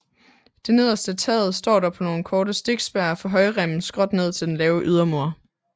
Det nederste af taget står dog på nogle korte stikspær fra højremmen skråt ned til den lave ydermur